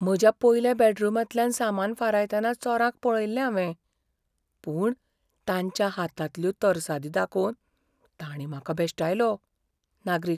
म्हज्या पयल्या बॅडरूमांतल्यान सामान फारायतना चोरांक पळयिल्लें हांवें, पूण तांच्या हातांतल्यो तरसादी दाखोवन ताणीं म्हाका भेश्टायलो. नागरीक